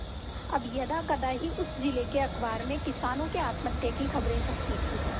अब यदाकदा ही उस जिले के अखबार में किसानों के आत्महत्या की खबरें छपती थी